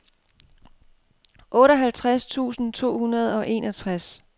otteoghalvtreds tusind to hundrede og enogtres